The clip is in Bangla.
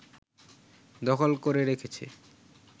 দখল করে রেখেছে